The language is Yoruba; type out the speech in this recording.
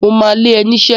Mo ma lé ẹ niṣẹ́!